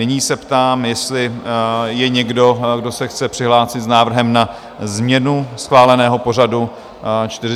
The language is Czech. Nyní se ptám, jestli je někdo, kdo se chce přihlásit s návrhem na změnu schváleného pořadu 41. schůze?